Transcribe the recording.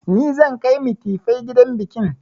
Ni zan kai mitifai gidan bikin